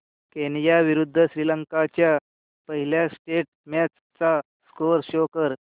Kenya विरुद्ध श्रीलंका च्या पहिल्या टेस्ट मॅच चा स्कोअर शो कर